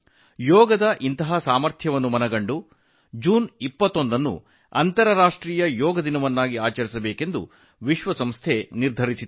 ಯೋಗದ ಅಂತಹ ಶಕ್ತಿಯನ್ನು ಗಮನದಲ್ಲಿಟ್ಟುಕೊಂಡು ವಿಶ್ವಸಂಸ್ಥೆಯು ಜೂನ್ 21 ರಂದು ಅಂತರರಾಷ್ಟ್ರೀಯ ಯೋಗ ದಿನವನ್ನು ಆಚರಿಸಲು ನಿರ್ಧರಿಸಿತು